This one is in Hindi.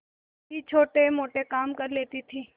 भी छोटेमोटे काम कर लेती थी